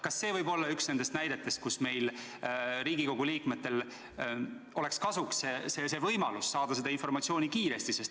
Kas see võib olla üks nendest näidetest, kui meile, Riigikogu liikmetele, tuleks kasuks see võimalus saada seda informatsiooni kiiresti?